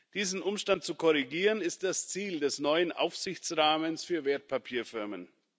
Diesen Umstand zu korrigieren, ist das Ziel des neuen Aufsichtsrahmens für Wertpapierfirmen.